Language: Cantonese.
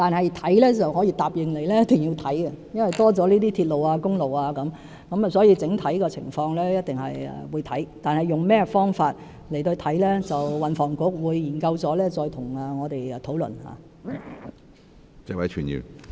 然而，我可以答應你一定會研究，因為增加了鐵路和公路，我們一定會檢視整體的情況，但用甚麼方法去研究，我們會與運輸及房屋局再作討論。